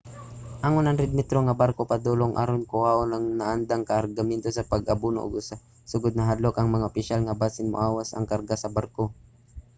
ang 100-metro nga barko padulong aron kuhaon ang naandang kargamento sa pag-abono ug sa sugod nahadlok ang mga opisyal nga basin moawas ang karga sa barko